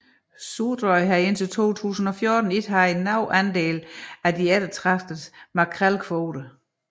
Suðuroy havde indtil 2014 ikke haft nogen andel af de eftertragtede makrelkvoter